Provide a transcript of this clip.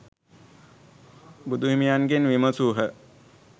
බුදුහිමියන්ගෙන් විමසූහ.